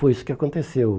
Foi isso que aconteceu.